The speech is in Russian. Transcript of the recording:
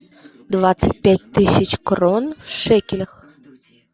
двадцать пять тысяч крон в шекелях